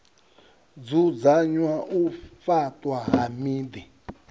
dzudzanya u faṱwa ha miḓi